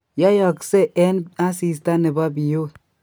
Yoiyoksee eng asista nebo biiut